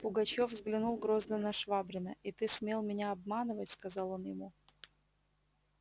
пугачёв взглянул грозно на швабрина и ты смел меня обманывать сказал он ему